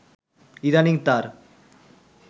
ইদানিং তার